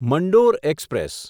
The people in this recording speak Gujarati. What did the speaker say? મંડોર એક્સપ્રેસ